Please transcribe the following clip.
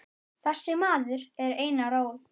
Þessi maður er Einar Ól.